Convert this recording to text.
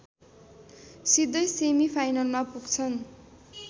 सिधै सेमिफाइनलमा पुग्छन्